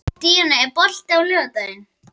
Díanna, er bolti á laugardaginn?